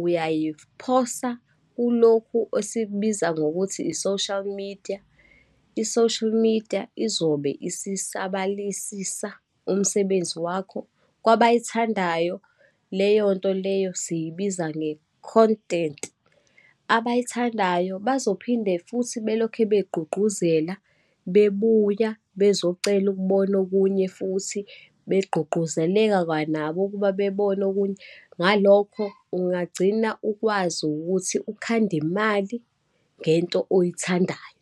uyayiphosa kulokhu esikubiza ngokuthi i-social media. I-social media izobe isisabalisisa umsebenzi wakho. Kwabayithandayo leyonto leyo siyibiza nge-content. Abayithandayo bazophinde futhi belokhe begqugquzela bebuya bezocela ukubona okunye futhi, begqugquzeleka kwanabo ukuba bebone okunye. Ngalokho ungagcina ukwazi ukuthi ukhande imali ngento oyithandayo.